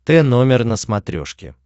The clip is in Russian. т номер на смотрешке